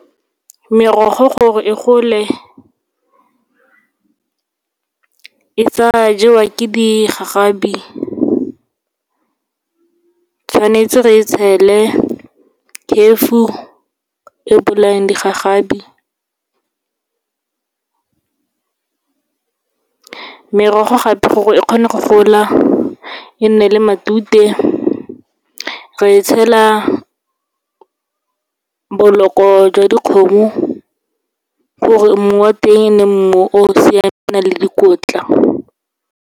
Merogo gore e gole, e sa jewa ke digagabi, tshwanetse re e tshele chefo e bolayang digagabi. Merogo gape, gore e kgone go gola e nne le matute, re tshela boloko jwa dikgomo, gore mmu wa teng e nne mmu o o siameng, o nang le dikotla.